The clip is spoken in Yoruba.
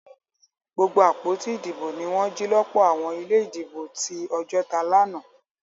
Gbogbo àpótí ìdìbò ní wọn jì lọpọ àwọn ilé ìdìbò tí Ojota lànà